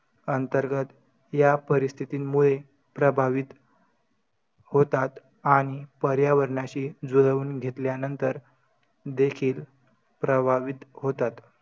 अंतर्गत या परिस्थितीमुळे प्रभावीत होतात आणि पर्यावरणशी जुळवून घेतल्यानंतर देखील प्रभावित होतात.